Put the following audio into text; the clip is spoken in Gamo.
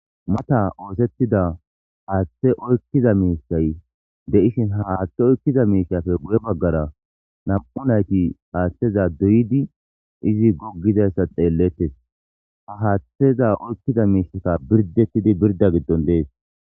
Mata oosettida aaththe oykkiza miisay de7ishin ha haaththe oykkiza miishafe gu7e baggara nam7u nayti aaththeza duyidi izi goggizayssa xeellettes ha haaththeza oykkiza miishaka birdettidi birda giddon dees.